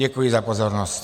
Děkuji za pozornost.